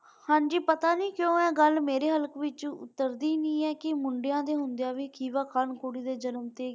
ਹਾਂਜੀ ਪਤਾ ਨਹੀਂ ਕਿਉਂ ਇਹ ਗੱਲ ਮੇਰੇ ਹਲ ਕਵਿੱਚੋ ਉਤਰਦੀ ਨਹੀਂ ਹੈ ਕਿ ਮੁੰਡਿਆਂ ਦੇ ਹੁੰਦਿਆਂ ਵੀ ਖੁਸ਼ੀ ਵਿਖਾਉਣ ਕੁੜੀਆਂ ਦੇ ਜਨਮ ਤੇ।